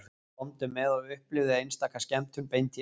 Komdu með og upplifðu einstaka skemmtun beint í æð